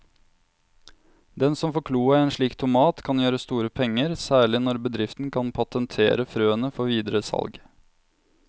Den som får kloa i en slik tomat kan gjøre store penger, særlig når bedriften kan patentere frøene før videre salg.